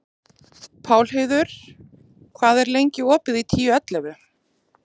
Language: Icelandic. Pálheiður, hvað er lengi opið í Tíu ellefu?